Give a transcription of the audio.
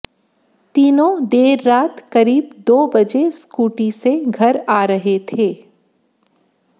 तीनों देर रात करीब दो बजे स्कूटी से घर आ रहे थे